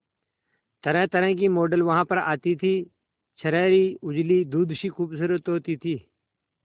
तरहतरह की मॉडल वहां पर आती थी छरहरी उजली दूध सी खूबसूरत होती थी